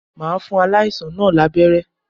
Màá fún aláìsàn náà lábẹ́ré